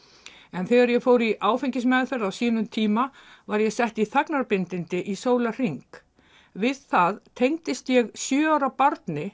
en þegar ég fór í áfengismeðferð á sínum tíma var ég sett í þagnarbindindi í sólarhring við það tengdist ég sjö ára barni